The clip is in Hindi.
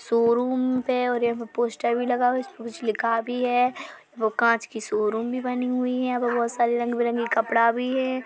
शोरूम पे और यहाँ पोस्टर भी लगा है इसमें कुछ लिखा भी है कांच की शोरूम बनी हुई है यहाँ पे बहुत सारी रंग-बिरंगे कपड़ा भी है।